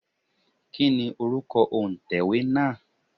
Kí ni orúkọ òǹtẹ̀wé náà?